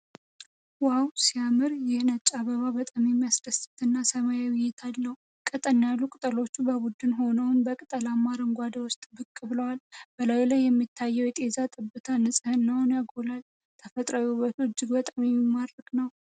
ዋው ሲያምር! ይህ ነጭ አበባ በጣም የሚያስደስት እና ሰላማዊ እይታ አለው። ቀጠን ያሉ ቅጠሎቹ በቡድን ሆነው በቅጠላማ አረንጓዴ ውስጥ ብቅ ብለዋል። በላዩ ላይ የሚታየው የጤዛ ጠብታ ንጽህናን ያጎላል። ተፈጥሮአዊ ውበቱ እጅግ በጣም የሚማርክ ነው!!።